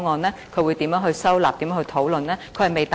政府會如何收納和討論這個方案？